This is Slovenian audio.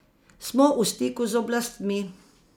Smo v stiku z oblastmi.